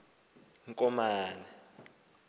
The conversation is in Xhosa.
komane